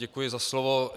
Děkuji za slovo.